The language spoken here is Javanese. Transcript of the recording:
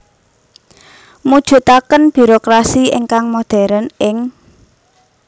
Mujudaken birokrasi ingkang modern ing